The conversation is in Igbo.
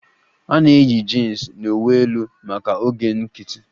A na-eyi jins na uwe elu maka oge nkiti